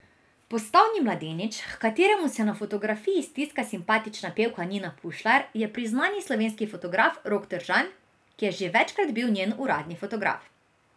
Postavni mladenič, h kateremu se na fotografiji stiska simpatična pevka Nina Pušlar, je priznani slovenski fotograf Rok Tržan, ki je že večkrat bil njen uradni fotograf.